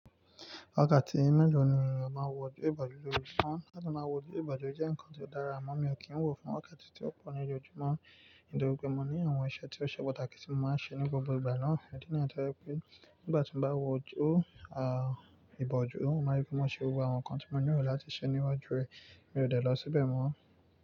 Wakati mélòó ni o maa n wò ojú ìbòjú l'ojoojumo? Láti máa wò ojú ìbòjú jẹ́ ǹkan ti o dára, àmọ́ mi ò kí ń wò fún wakati ti ó pọ̀ ní ojoojumọ́ nítorí pé mo ní àwọn iṣẹ́ tí ó ṣe pàtàkì tí mo máa ń ṣe ní gbogbo ìgbà náà, idi niyii ti ó jẹ́ pé nígbà tí mo bá wò ojú ìbòjú, mó máa n rí pé mo ṣe gbogbo àwọn ǹkan tí mo nílo láti ṣe níwájú rẹ̀. Mi ò dẹ̀ lọ síbẹ̀ mọ́.